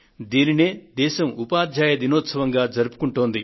దీనినే దేశం ఉపాధ్యాయ దినోత్సవంగా జరుపుకొంటోంది